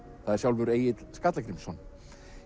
það er sjálfur Egill Skallagrímsson